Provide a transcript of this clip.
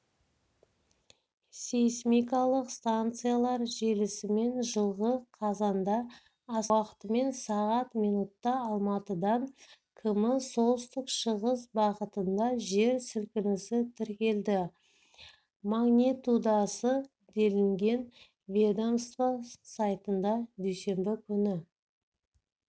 сейсмикалық станциялар желісімен жылғы қазандаастана уақытымен сағат минутта алматыдан км солтүстік-шығыс бағытында жер сілкінісі тіркелді магнитудасы делінген ведомство сайтында дүйсенбі күні